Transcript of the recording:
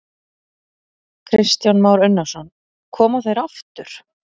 Kristján Már Unnarsson: Koma þeir aftur?